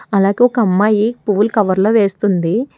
అలాగే ఒక అమ్మాయి పూలు కవర్లో వేస్తుంది.